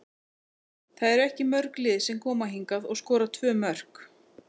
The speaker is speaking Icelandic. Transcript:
Það eru ekki mörg lið sem koma hingað og skora tvö mörk.